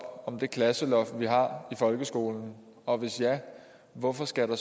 om det klasseloft vi har i folkeskolen og hvis ja hvorfor skal der